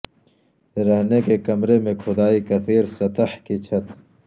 رہنے کے کمرے میں کھدائی کثیر سطح کی چھت